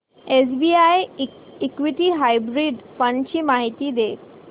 SBI equity hybrid fund ची माहिती दे